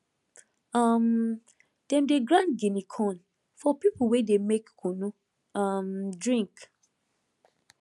um dem dey grind guinea corn for people wey dey make kunu um drink